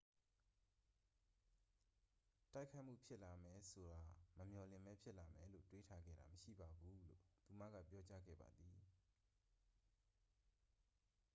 """တိုက်ခိုက်မှုဖြစ်လာမယ်ဆိုတာ မမျှော်လင့်ဘဲ ဖြစ်လာမယ်လို့ တွေးထားခဲ့တာမရှိပါဘူး၊" လို့ သူမက ပြောကြားခဲ့ပါသည်။